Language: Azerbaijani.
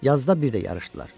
Yazda bir də yarışdılar.